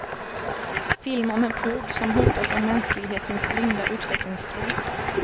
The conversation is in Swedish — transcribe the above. Film om en flod som hotas av mänsklighetens blinda utvecklingstro.